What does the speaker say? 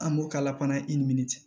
An b'o k'a la fana i ni min cɛ